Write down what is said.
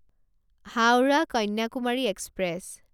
Howrah Kanyakumari express